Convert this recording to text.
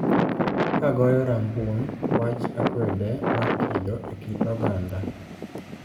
Ka goyo rambun wach akwede mar kido e kit oganda